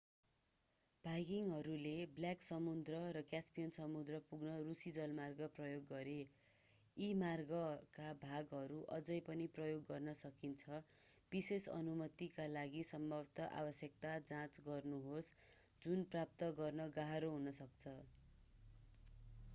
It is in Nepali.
भाइकिङहरूले ब्ल्याक समुद्र र क्यास्पियन समुद्र पुग्न रूसी जलमार्ग प्रयोग गरे यी मार्गका भागहरू अझै पनि प्रयोग गर्न सकिन्छ विशेष अनुमतिका लागि सम्भावित आवश्यकता जाँच गर्नुहोस् जुन प्राप्त गर्न गाह्रो हुन सक्छ